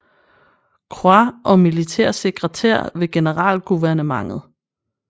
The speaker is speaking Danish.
Croix og militær sekretær ved Generalguvernementet